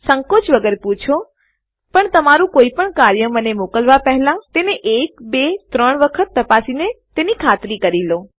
સંકોચ વગર પૂછો પણ તમારું કોઈપણ કાર્ય મને મોકલવા પહેલા તેને એક બે કે ત્રણ વખત તપાસીને તેની ખાતરી કરી લો